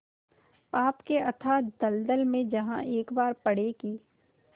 पाप के अथाह दलदल में जहाँ एक बार पड़े कि